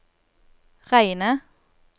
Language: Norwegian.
Reine